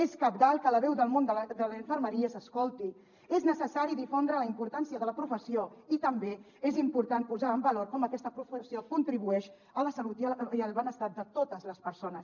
és cabdal que la veu del món de la infermeria s’escolti és necessari difondre la importància de la professió i també és important posar en valor com aquesta professió contribueix a la salut i al benestar de totes les persones